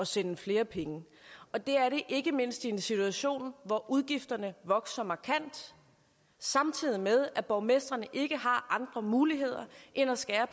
sende flere penge og det er det ikke mindst i en situation hvor udgifterne vokser markant samtidig med at borgmestrene ikke har andre muligheder end at skære